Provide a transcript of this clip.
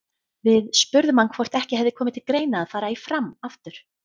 Við spurðum hann hvort ekki hefði komið til greina að fara í Fram aftur?